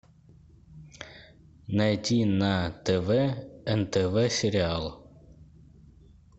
найти на тв нтв сериал